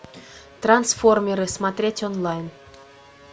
трансформеры смотреть онлайн